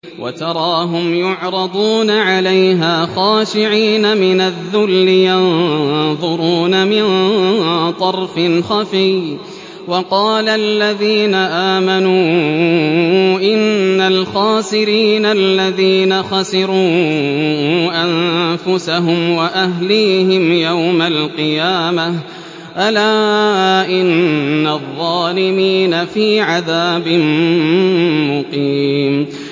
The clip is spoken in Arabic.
وَتَرَاهُمْ يُعْرَضُونَ عَلَيْهَا خَاشِعِينَ مِنَ الذُّلِّ يَنظُرُونَ مِن طَرْفٍ خَفِيٍّ ۗ وَقَالَ الَّذِينَ آمَنُوا إِنَّ الْخَاسِرِينَ الَّذِينَ خَسِرُوا أَنفُسَهُمْ وَأَهْلِيهِمْ يَوْمَ الْقِيَامَةِ ۗ أَلَا إِنَّ الظَّالِمِينَ فِي عَذَابٍ مُّقِيمٍ